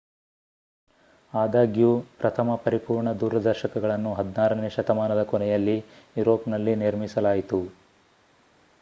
ಆದಾಗ್ಯೂ ಪ್ರಥಮ ಪರಿಪೂರ್ಣ ದೂರದರ್ಶಕಗಳನ್ನು 16ನೇ ಶತಮಾನದ ಕೊನೆಯಲ್ಲಿ ಯೂರೋಪ್‌ನಲ್ಲಿ ನಿರ್ಮಿಸಲಾಯಿತು